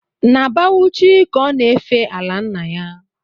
Na Bauchi ka ọ na-efe ala nna ya